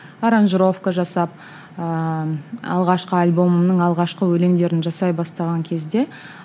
аранжировка жасап ыыы алғашқы альбомның алғашқы өлеңдерін жасай бастаған кезде